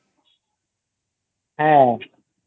হ্যাঁ